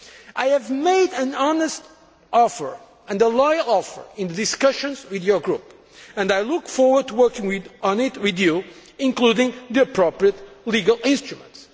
I have made an honest and loyal offer in discussions with your group, and I look forward to working on it with you, including on the appropriate legal instruments.